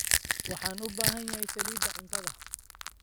Waxaan u baahanahay saliidda cuntada.